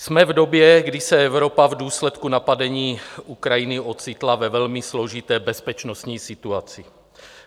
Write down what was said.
Jsme v době, kdy se Evropa v důsledku napadení Ukrajiny ocitla ve velmi složité bezpečnostní situaci.